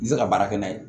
I tɛ se ka baara kɛ n'a ye